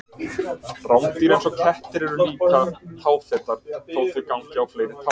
Rándýr eins og kettir eru líka táfetar þó að þau gangi á fleiri tám.